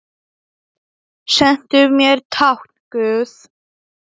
Sendu mér tákn guð.